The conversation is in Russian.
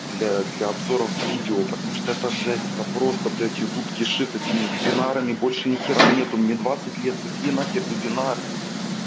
для для обзоров видео потому что это жесть это просто блять ютуб кишит этими вебинарами больше нихуя нету мне двадцать лет какие нахер вебинар